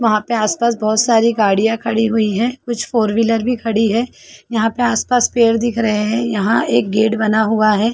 यहाँ पे आस पास बहोत सारी गाड़िया खड़ी हुई है कुछ फोर व्हीलर भी खड़ी है यहाँ पे आस-पास पेड़ दिख रहे है यहाँ एक गेट बना हुआ है।